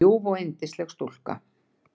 En ljúf og yndisleg stúlka.